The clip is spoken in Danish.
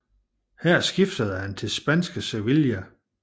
Her skiftede han til spanske Sevilla